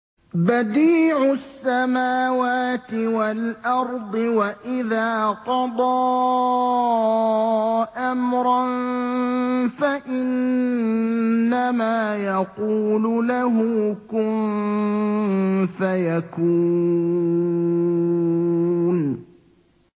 بَدِيعُ السَّمَاوَاتِ وَالْأَرْضِ ۖ وَإِذَا قَضَىٰ أَمْرًا فَإِنَّمَا يَقُولُ لَهُ كُن فَيَكُونُ